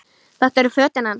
Þetta eru fötin hans!